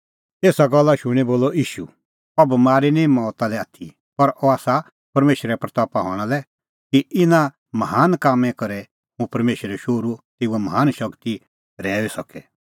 एसा गल्ला शूणीं बोलअ ईशू अह बमारी निं मौता लै आथी पर अह आसा परमेशरे महिमां हणां लै कि इना महान कामां करै हुंह परमेशरो शोहरू तेऊए महान शगती रहैऊई सके